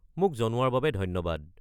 মোক জনোৱাৰ বাবে ধন্যবাদ।